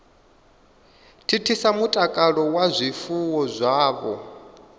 thithisa mutakalo wa zwifuwo zwavho